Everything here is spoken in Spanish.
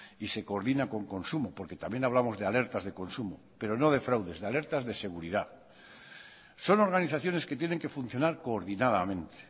y se coordina con consumo porque también hablamos de alertas de consumo pero no de fraudes de alertas de seguridad son organizaciones que tienen que funcionar coordinadamente